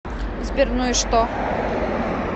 сбер ну и что